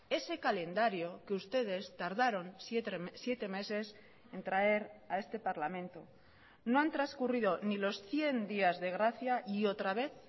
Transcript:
ese calendario que ustedes tardaron siete meses en traer a este parlamento no han transcurrido ni los cien días de gracia y otra vez